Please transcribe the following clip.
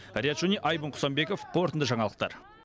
риат шони айбын құсанбеков қорытынды жаңалықтар